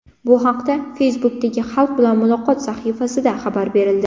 Bu haqda Facebook’dagi Xalq bilan muloqot sahifasida xabar berildi .